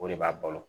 O de b'a balo